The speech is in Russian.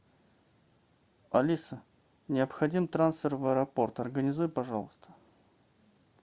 алиса необходим трансфер в аэропорт организуй пожалуйста